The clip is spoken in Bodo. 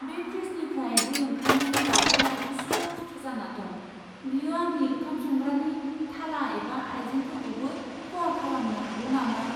बे फ्रिजनिफ्राय दै ओंखारनायनि बागै आं उसु खुथु जाना दं बेयो आंनि ओंखाम संग्रानि थाला एबा आइजेंफोरखौबो खहा खालामनो हागौ नामा?